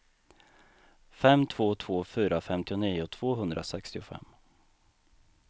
fem två två fyra femtionio tvåhundrasextiofem